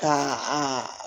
Ka a